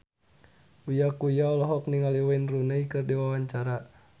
Uya Kuya olohok ningali Wayne Rooney keur diwawancara